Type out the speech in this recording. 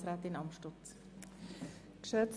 Leistungsverträge Leistungsverträge überprüfen: